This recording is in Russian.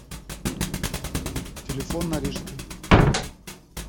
телефон на рижской